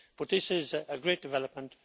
This is a great development.